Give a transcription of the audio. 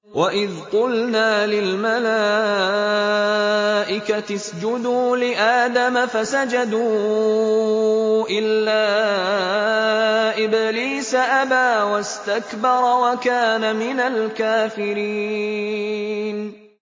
وَإِذْ قُلْنَا لِلْمَلَائِكَةِ اسْجُدُوا لِآدَمَ فَسَجَدُوا إِلَّا إِبْلِيسَ أَبَىٰ وَاسْتَكْبَرَ وَكَانَ مِنَ الْكَافِرِينَ